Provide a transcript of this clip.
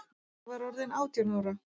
Ég var orðin átján ára.